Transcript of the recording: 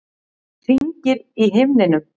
Hringir í himninum.